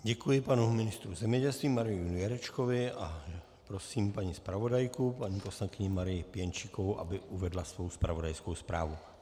Děkuji panu ministru zemědělství Marianu Jurečkovi a prosím paní zpravodajku, paní poslankyni Marii Pěnčíkovou, aby uvedla svou zpravodajskou zprávu.